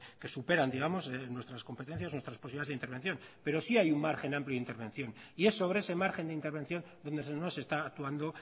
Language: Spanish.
que superan digamos nuestras competencias nuestras posibilidades de intervención pero sí hay un margen amplio de intervención y es sobre ese margen de intervención donde no se está actuando